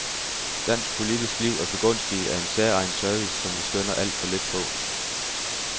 Dansk politisk liv er begunstiget af en særegen service, som vi skønner alt for lidt på.